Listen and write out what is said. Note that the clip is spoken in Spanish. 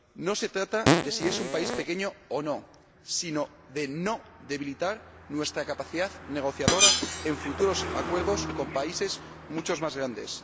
No se trata de si es un país pequeño o no, sino de no debilitar nuestra capacidad negociadora en futuros acuerdos con países mucho más grandes.